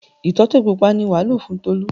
Ìtọ́tẹ̀ pupa ni wàá lò fún Tolú.